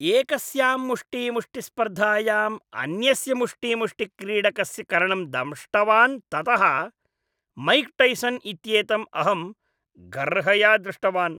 एकस्यां मुष्टीमुष्टिस्पर्धायाम् अन्यस्य मुष्टीमुष्टिक्रीडकस्य कर्णं दंष्टवान् ततः मैक् टैसन् इत्येतम् अहं गर्हया दृष्टवान्।